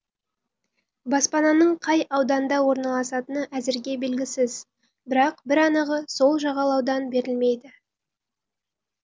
баспананың қай ауданда орналасатыны әзірге белгісіз бірақ бір анығы сол жағалаудан берілмейді